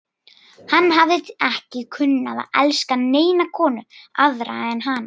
Hann hafði ekki kunnað að elska neina konu aðra en hana.